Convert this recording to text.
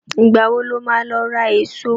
Ìgbà wo ló máa lọ ra èso?